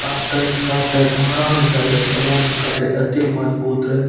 काटत-काटत हरान भाए जात तबो ने इ कटे एते मजबूत रहे।